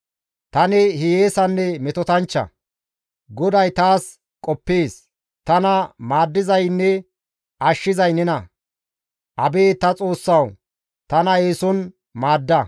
Tani hiyeesanne metotanchcha; Goday taas qoppees; tana maaddizaynne ashshizay nena; abeet ta Xoossawu tana eeson maadda.